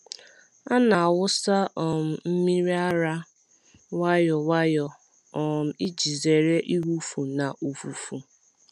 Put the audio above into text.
A na-awụsa um mmiri ara nwayọ nwayọ um iji zere ịwụfu na ụfụfụ.